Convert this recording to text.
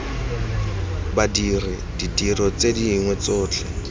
badiri ditiro tse dingwe tsotlhe